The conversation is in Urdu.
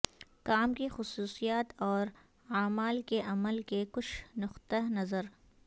کام کی خصوصیات اور اعمال کے عمل کے کچھ نقطہ نظر